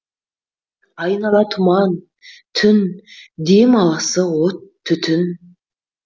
айнала тұман түн дем алысы от түтін